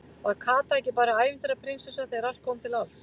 Var Kata ekki bara ævintýra- prinsessa þegar allt kom til alls?